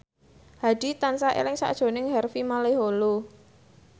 Hadi tansah eling sakjroning Harvey Malaiholo